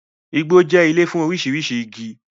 Igbo jẹ́ ilé fún oríṣiríṣi igi